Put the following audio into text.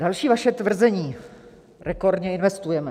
Další vaše tvrzení: Rekordně investujeme.